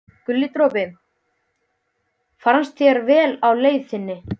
Guli dropi, farnist þér vel á leið þinni.